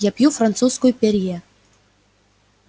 я пью французскую перье